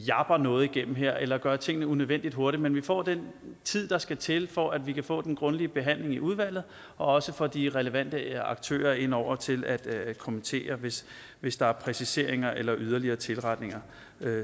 japper noget igennem her eller gør tingene unødvendigt hurtigt men får den tid der skal til for at vi kan få den grundige behandling i udvalget og også får de relevante aktører ind over til at kommentere hvis hvis der er præciseringer eller yderligere tilretninger